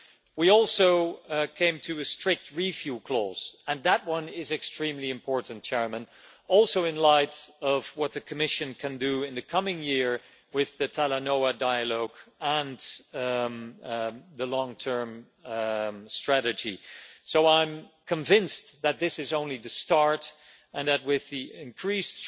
We also came to a strict review clause, and that one is extremely important, also in light of what the Commission can do in the coming year with the Talanoa Dialogue and the long term strategy. I am convinced that this is only the start and that with increased